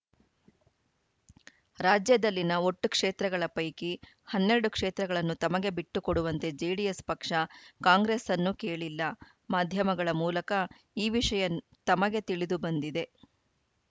ರಾಜ್ಯದಲ್ಲಿನ ಒಟ್ಟು ಕ್ಷೇತ್ರಗಳ ಪೈಕಿ ಹನ್ನೆರಡು ಕ್ಷೇತ್ರಗಳನ್ನು ತಮಗೆ ಬಿಟ್ಟುಕೊಡುವಂತೆ ಜೆಡಿಎಸ್‌ ಪಕ್ಷ ಕಾಂಗ್ರೆಸ್ಸನ್ನು ಕೇಳಿಲ್ಲ ಮಾಧ್ಯಮಗಳ ಮೂಲಕ ಈ ವಿಷಯ ತಮಗೆ ತಿಳಿದು ಬಂದಿದೆ